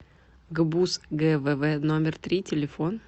гбуз гвв номер три телефон